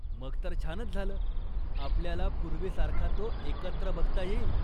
मग तर छानच झालं, आपल्याला पूर्वीसारखा तो एकत्र बघता येईल.